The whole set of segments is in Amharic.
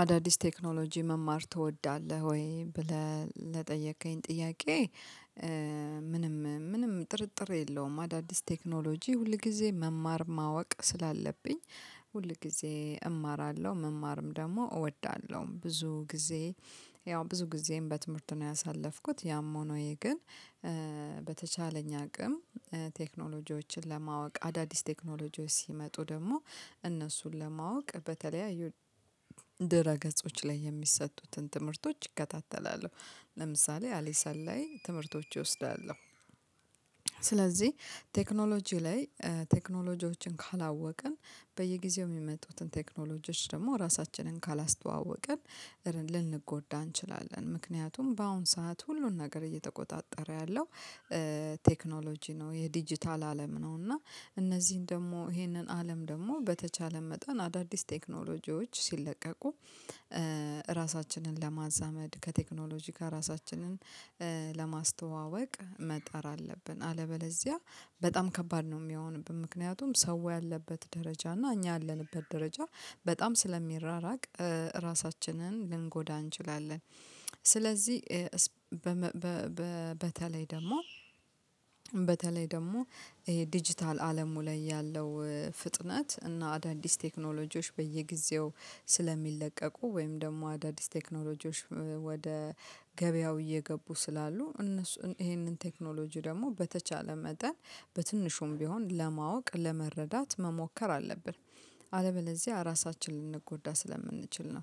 አዳዲስ ቴክኖሎጂ መማር ትወዳለህ ወይ ብለህ ለጠየከኝ ጥያቄ? ምንም ምንም ጥርጥር የለውም። አዳዲስ ቴክኖሎጂ ሁልጊዜ መማር ማወቅ ስላለብኝ። ሁል ጊዜ እማራለሁ መማርም ደግሞ እወዳለሁ ብዙ ጊዜ። ያው ብዙ ጊዜም በትምህርት ነው ያሳለፍኩት ያም ሆኖ ግን። በተቻለኝ አቅም። ቴክኖሎጂዎችን ለማወቅ አዳዲስ ቴክኖሎጂዎች ሲመጡ ደግሞ እነሱን ለማወቅ በተለያዩ ድረገጾች ላይ የሚሰጡትን ትምህርቶች እከታተላለሁ። ለምሳሌ አሊ ሰላይ ትምህርቶች ይወስዳሉ። ስለዚህ ቴክኖሎጂ ላይ ቴክኖሎጂዎችን ካላወቅን በየጊዜው የሚመጡትን ቴክኖሎጂዎች ደግሞ ራሳችንን ካላስተዋወቅን ልንጎዳ እንችላለን። ምክንያቱም በአሁን ሰዓት ሁሉን ነገር እየተቆጣጠረ ያለው ቴክኖሎጂ ነው የዲጂታል አለም ነው። እና እነዚህን ደግሞ ይሄንን አለም ደግሞ በተቻለ መጠን አዳዲስ ቴክኖሎጂዎች ሲለቀቁ ራሳችንን ለማዛመድ ከቴክኖሎጂ ጋር ራሳችንን ለማስተዋወቅ መጣር አለብን። አለበለዚያ በጣም ከባድ ነው የሚያሆንብን። ምክንያቱም ሰው ያለበት ደረጃ እና እኛ ያለንበት ደረጃ በጣም ስለሚራራቅ ራሳችንን ልንጎዳ እንችላለን። ስለዚህ በተለይ ደግሞ ይሄ ዲጂታል አለሙ ላይ ያለው ፍጥነት እና አዳዲስ ቴክኖሎጂዎች በየጊዜው ስለሚለቀቁ ወይም ደግሞ አዳዲስ ቴክኖሎጂዎች ወደ ገበያው እየገቡ ስላሉ እነሱ ይሄንን ቴክኖሎጂ ደግሞ በተቻለ መጠን በትንሹም ቢሆን ለማወቅ ለመረዳት መሞከር አለብን። አለበለዚያ ራሳችንን ልንጎዳ ስለምንችል ነው።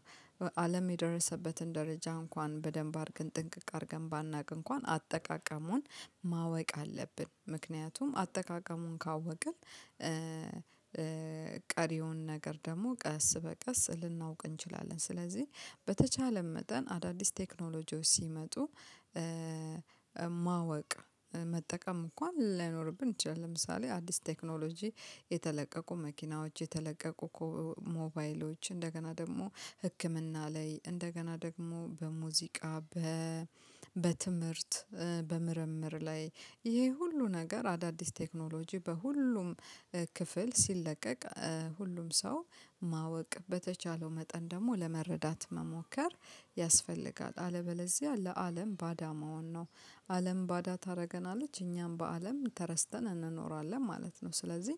አለም የደረሰበትን ደረጃ እንኳን በደንብ አድርገን ጥንቅቅ አድርገን ባናውቅ እንኳን አጠቃቀሙን ማወቅ አለብን። ምክንያቱም አጠቃቀሙን ካወቅን ቀሪውን ነገር ደግሞ ቀስ በቀስ ልናውቅ እንችላለን። ስለዚህ በተቻለን መጠን አዳዲስ ቴክኖሎጂዎች ሲመጡ ማወቅ መጠቀም እንኳን ላይኖርብን ይችላል። ለምሳሌ አዲስ ቴክኖሎጂ የተለቀቁ መኪናዎች የተለቀቁ ሞባይሎች እንደገና ደግሞ ህክምና ላይ እንደገና ደግሞ በሙዚቃ በትምህርት በምርምር ላይ ይሄ ሁሉ ነገር አዳዲስ ቴክኖሎጂ በሁሉም ክፍል ሲለቀቅ ሁሉም ሰው ማወቅ በተቻለው መጠን ደግሞ ለመረዳት መሞከር ያስፈልጋል። አለበለዚያ ለአለም ባዳ መሆን ነው። አለም ባዳ ታደርገናለች እኛም በአለም ተረስተን እንኖራለን ማለት ነው። ስለዚህ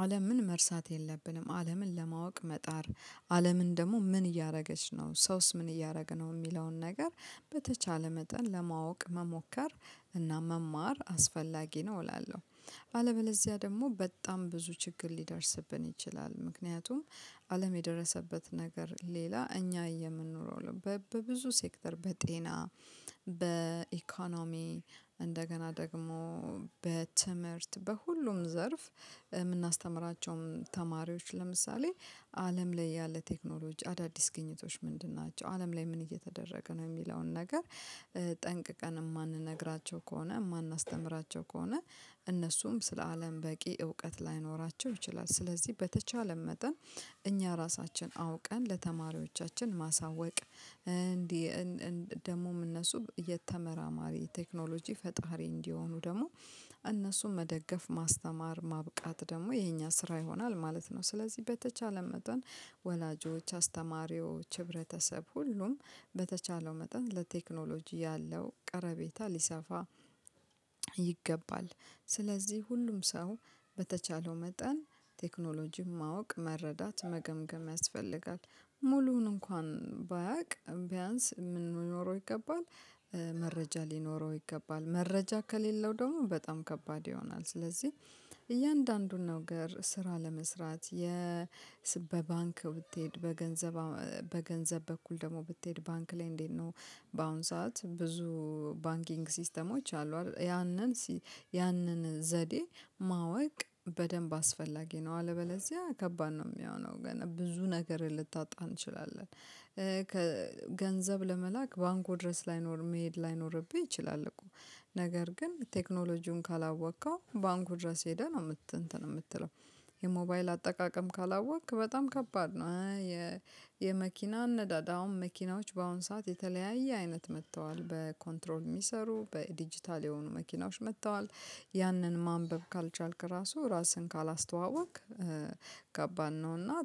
አለምን መርሳት የለብንም አለምን ለማወቅ መጣር አለምን ደግሞ ምን እያደረገች ነው ሰውስ ምን እያደረግን የሚለውን ነገር በተቻለ መጠን ለማወቅ መሞከር እና መማር አስፈላጊ ነው። እላለሁ አለበለዚያ ደግሞ በጣም ብዙ ችግር ሊደርስብን ይችላል። ምክንያቱም አለም የደረሰበት ነገር ሌላ እኛ የምንኖረው በብዙ ሴክተር በጤና በኢኮኖሚ እንደገና ደግሞ በትምህርት በሁሉም ዘርፍ ምናስተምራቸውም ተማሪዎች ለምሳሌ አለም ላይ ያለ ቴክኖሎጂ አዳዲስ ግኝቶች ምንድን ናቸው? አለም ላይ ምን እየተደረገ ነው? የሚለውን ነገር ጠንቅቀን የማንነግራቸው ከሆነ የማናስተምራቸው ከሆነ እነሱም ስለ አለም በቂ እውቀት ላይኖራቸው ይችላል። ስለዚህ በተቻለ መጠን እኛ ራሳችን አውቀን ለተማሪዎቻችን ማሳወቅ እንዲህ ደግሞም እነሱ የተመራማሪ ቴክኖሎጂ ፈጣሪ እንዲሆኑ ደግሞ እነሱም መደገፍ ማስተማር ማብቃት ደግሞ የኛ ስራ ይሆናል ማለት ነው። ስለዚህ በተቻለ መጠን ወላጆች አስተማሪዎች ህብረተሰብ ሁሉም በተቻለው መጠን ለቴክኖሎጂ ያለው ቀርቤታ ሊሰፋ ይገባል። ስለዚህ ሁሉም ሰው በተቻለው መጠን ቴክኖሎጂም ማወቅ መረዳት መገምገም ያስፈልጋል። ሙሉውን እንኳን ባያውቅ ቢያንስ የምንኖረው ይገባል መረጃ ሊኖረው ይገባል። መረጃ ከሌለው ደግሞ በጣም ከባድ ይሆናል። ስለዚህ እያንዳንዱን ነገር ስራ ለመስራት በባንክ ብትሄድ በገንዘብ በገንዘብ በኩል ደግሞ ብትሄድ ባንክ ላይ እንዴት ነው? በአሁን ሰዓት ብዙ ባንኪንግ ሲስተሞች አሉ ያንን ያንን ዘዴ ማወቅ በደንብ አስፈላጊ ነው። አለበለዚያ ከባድ ነው የሚሆነው። ግን ብዙ ነገር ልታጣ እንችላለን። ገንዘብ ለመላክ ባንኩ ድረስ ላይኖር መሄድ ላይኖርብኝ ይችላል እኮ ነገር ግን ቴክኖሎጂውን ካላወቅከው ባንኩ ድረስ ሄደህ ነው የምትለው። የሞባይል አጠቃቀም ካላወቅክ በጣም ከባድ ነው። የመኪና አሁን መኪናዎች በአሁን ሰዓት የተለያየ አይነት መጥተዋል በኮንትሮል የሚሰሩ በዲጂታል የሆኑ መኪናዎች መጥተዋል። ያንን ማንበብ ካልቻልክ ራሱ ራስህን ካላስተዋወቅክ ከባድባን ነውና